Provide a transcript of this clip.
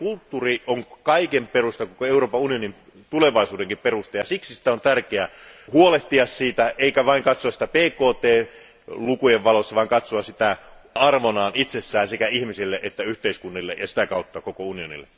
Kulttuuri on kaiken perusta, koko Euroopan unionin tulevaisuudenkin perusta, ja siksi on tärkeä huolehtia siitä, eikä vain katsoa sitä BKT lukujen valossa, vaan katsoa sitä arvona itsessään sekä ihmisille että yhteiskunnille ja sitä kautta koko unionille.